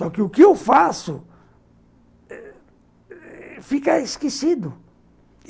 Só que o que eu faço fica esquecido.